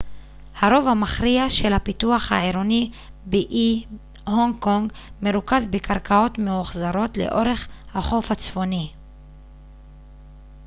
הרוב המכריע של הפיתוח העירוני באי הונג קונג מרוכז בקרקעות מאוחזרות לאורך החוף הצפוני